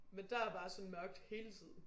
Men der er bare så mørkt hele tiden